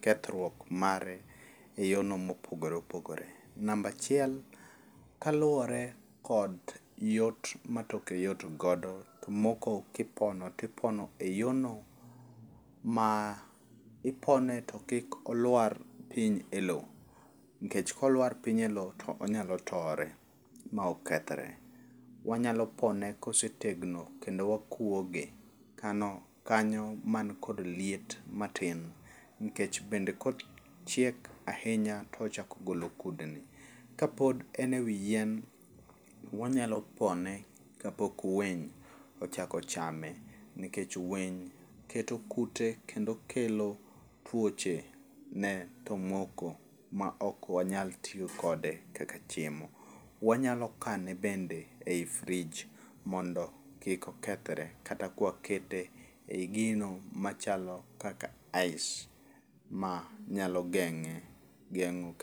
kethruok mare e yono mopogore opogore. Namba achiel, kaluwore kod yot ma toke yot godo, tomoko kipono tipono e yono ma ipone to kik olwar piny e lo, nikech kolwar piny e lo tonyalo tore ma okethre. Wanyalo pone kosetegno kendo wakwoge kanyo man kod liet matin nkech bende kochiek ahinya tochako golo kudni. Kapod en e wi yien, wanyalo pone kapok winy ochako chame, nikech winy keto kute kendo kelo tuoche ne tomoko ma ok wanyal tiyo kode kaka chiemo. Wanyalo kane bende e i frij mondo kik okethre kata kwakete e i gino machalo kaka ice manyalo geng'e geng'o...